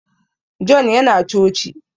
John ya na coci